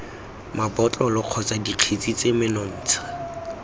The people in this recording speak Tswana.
mabotlolo kgotsa dikgetse tse menontsha